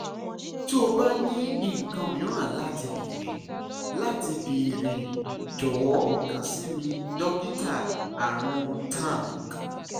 ti o ba ni nkan miiran lati beere lati beere jọwọ kan si mi dokita arun tank